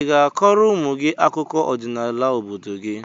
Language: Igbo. I ga-akọrọ ụmụ gị akụkọ ọdịnala obodo gị?